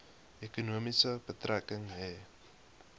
ekonomie betrekking hê